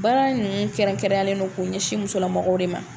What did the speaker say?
Baara in ninnu kɛrɛnkɛrɛnlen don k'o ɲɛsin musolamɔgɔw de ma